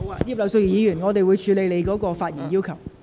葉劉淑儀議員，我稍後會處理你的發言要求。